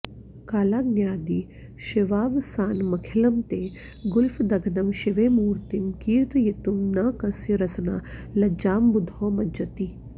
कालाग्न्यादि शिवावसानमखिलं ते गुल्फदघ्नं शिवे मूर्तिं कीर्तयितुं न कस्य रसना लज्जाम्बुधौ मज्जति